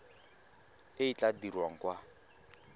e e tla dirwang kwa